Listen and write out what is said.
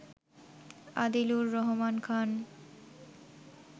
Adilur Rahman Khan